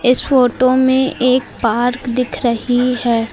इस फोटो में एक पार्क दिख रही है।